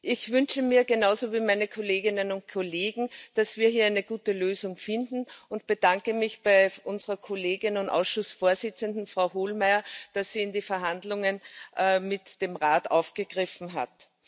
Ich wünsche mir genauso wie meine Kolleginnen und Kollegen, dass wir hier eine gute Lösung finden, und bedanke mich bei unserer Kollegin und Ausschussvorsitzenden, Frau Hohlmeier, dass sie die Verhandlungen mit dem Rat aufgegriffen hat.